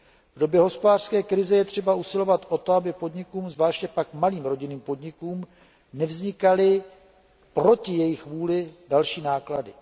V době hospodářské krize je třeba usilovat o to, aby podnikům, a zvláště pak malým rodinným podnikům, nevznikaly proti jejich vůli další náklady.